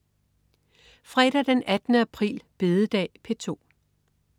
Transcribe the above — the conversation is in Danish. Fredag den 18. april. Bededag - P2: